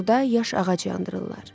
orda yaş ağac yandırırlar.